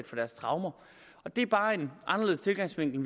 for deres traumer det er bare en anderledes indfaldsvinkel